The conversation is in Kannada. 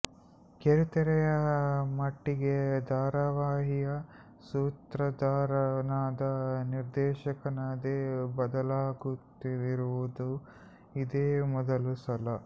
ಕಿರುತೆರೆಯ ಮಟ್ಟಿಗೆ ಧಾರವಾಹಿಯ ಸೂತ್ರಧಾರನಾದ ನಿರ್ದೇಶಕನೇ ಬದಲಾಗುತ್ತಿರುವುದು ಇದೇ ಮೊದಲ ಸಲ